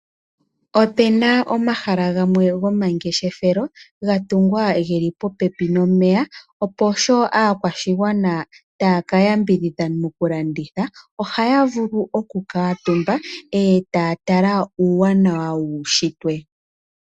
Opuna omahala gamwe gomangeshefelo ga tungwa geli po pepi nomeya, opo sho aakwashigwana taya ka ya mbidhidha mokulanditha ohaya vulu oku kuutumba etaya tala uuwanawa wuushitwe.